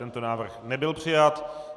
Tento návrh nebyl přijat.